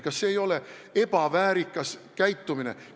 Kas see ei ole ebaväärikas käitumine?